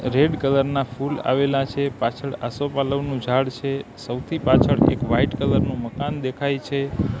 Red colour ના ફૂલ આવેલા છે પાછળ આસોપાલવનું ઝાડ છે સૌથી પાછળ એક વ્હાઇટ કલર નુ મકાન દેખાય છે.